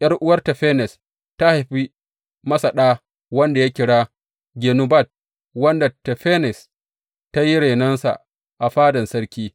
’Yar’uwar Tafenes ta haifi masa ɗa wanda ya kira Genubat, wanda Tafenes ta yi renonsa a fadan sarki.